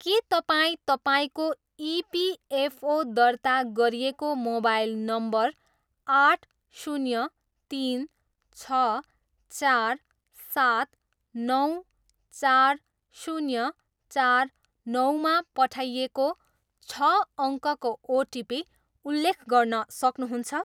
के तपाईँ तपाईँको इपिएफओ दर्ता गरिएको मोबाइल नम्बर आठ, शून्य, तिन, छ, चार, सात, नौ, चार, शून्य, चार, नौमा पठाइएको छ अङ्कको ओटिपी उल्लेख गर्न सक्नुहुन्छ?